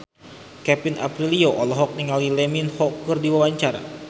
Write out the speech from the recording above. Kevin Aprilio olohok ningali Lee Min Ho keur diwawancara